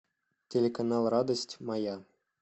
телеканал радость моя